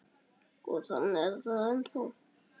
Og þannig er það ennþá.